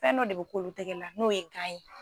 Fɛn dɔ de bɛ k'olu tɛgɛ la n'o ye ye